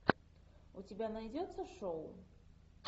у тебя найдется шоу